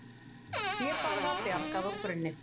Hlébarða bjargað úr brunni